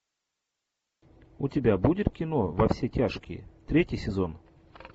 у тебя будет кино во все тяжкие третий сезон